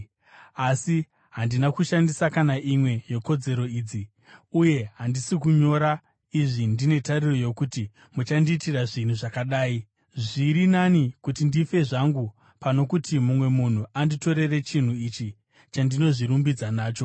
Asi handina kushandisa kana imwe yekodzero idzi. Uye handisi kunyora izvi ndine tariro yokuti muchandiitira zvinhu zvakadai. Zviri nani kuti ndife zvangu pano kuti mumwe munhu anditorere chinhu ichi chandinozvirumbidza nacho.